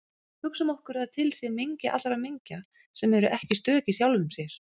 Hugsum okkur að til sé mengi allra mengja sem eru ekki stök í sjálfum sér.